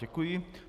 Děkuji.